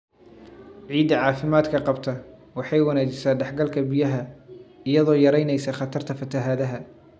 Ciidda caafimaadka qabta waxay wanaajisaa dhex galka biyaha, iyadoo yaraynaysa khatarta fatahaadda.